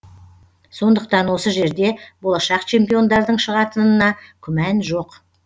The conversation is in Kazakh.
сондықтан осы жерде болашақ чемпиондардың шығатынына күмән жоқ